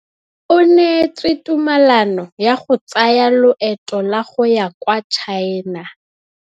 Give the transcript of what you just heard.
O neetswe tumalanô ya go tsaya loetô la go ya kwa China.